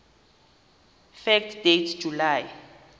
fact date july